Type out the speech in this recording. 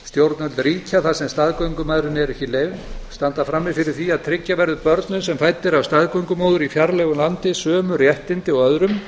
stjórnvöld ríkja þar sem staðgöngumæðrun er ekki leyfð standa frammi fyrir því að tryggja verði börnum sem fædd eru af staðgöngumóður í fjarlægu landi sömu réttindi og öðrum